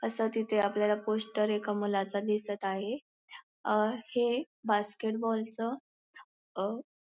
अस तिथे आपल्याला पोस्टर एका मुलाचा दिसत आहे अ हे बास्केटबॉलच अहं --